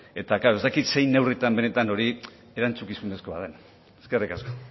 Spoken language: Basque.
eta klaro ez dakit zein neurritan benetan hori erantzukizunezkoa den eskerrik asko